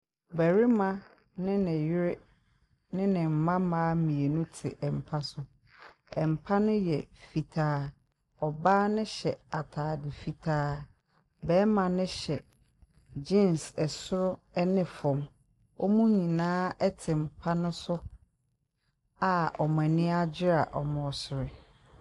Barima ne ne yere ne ne mma mma ate mpa so. Mpa ne yɛ fitaa, ɔbaa no ataade fitaa, barima no hyɛ jeans soro ne fam. Wɔn nyina ate mpa ne so a wɔn ani agye a wɔresere.